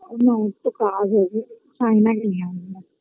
না ওর তো কাজ রয়েছে সাইনা কে নিয়ে আসবো